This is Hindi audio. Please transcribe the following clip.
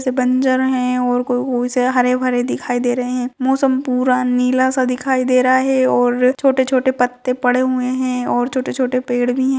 बंजर है और कुछ हरे भरे दिखाई दे रहे हैं मौसम पूरा नीला सा दिखाई दे रहा है और छोटे-छोटे पत्ते पड़े हुए हैं और छोटे-छोटे पेड़ भी हैं।